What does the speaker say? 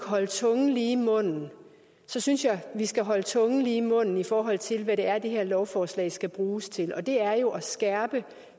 holde tungen lige i munden så synes jeg vi skal holde tungen lige i munden i forhold til hvad det er det her lovforslag skal bruges til og det er jo at skærpe